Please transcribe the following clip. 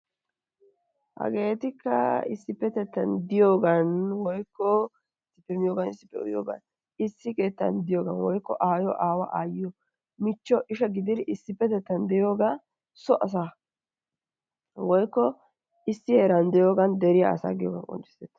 Hageetikka issipetettay diyogan woykko issippe miyogan issippe uyyiyoogan issi keettan diyogan woykko aayiyo aawaa aayiyo michcho isha gididi issipetettan diyoogaa so asaa woykko issi heeran de'iyogaan dere asaa giyoga qonccisees.